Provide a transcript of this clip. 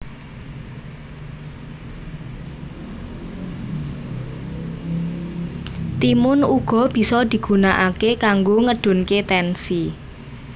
Timun uga bisa digunakake kanggo ngedunke tensi